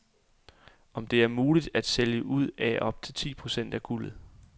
Om det er muligt at sælge ud af op til ti procent af guldet.